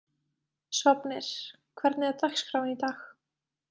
Sváfnir, hvernig er dagskráin í dag?